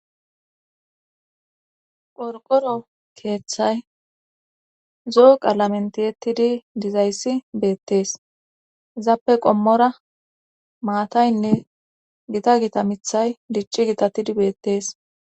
qorqoro keeththay zoo qaalamentiyettidi dizayssi beettees zappe qommora maataynne gita gita mithay dicci gitatidi beettees